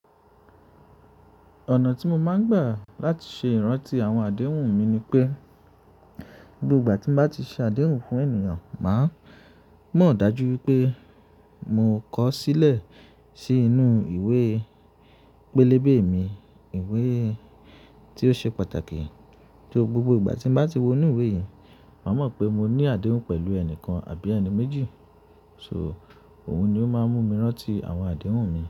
Ọ̀nà tí mo máa ń gbà láti ṣe ìrántí àwọn àdéhùn mi ni pé, gbogbo ìgbà tí mo bá ti ṣe àdéhùn fún ènìyàn, màá mọ̀ dájú wi pé mò kọ ó sílẹ̀ sí inú ìwé pélébé mi. Ìwé tí ó ṣe pàtàkì, to gbogbo ìgbà tí n bá ti wo inú ìwé yìí, màá mọ̀ pé mo ní àdéhùn pẹ̀lú ẹni kan àbí ẹni méjì. So, òun ni ó máa ń mú mi rántí àwọn àdéhùn mi.